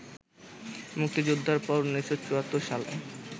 মুক্তিযুদ্ধের পর ১৯৭৪ সালে